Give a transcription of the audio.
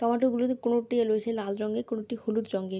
tomato গুলোতে কোনোটি বেশি লাল রঙের কোনটি হলুদ রঙের |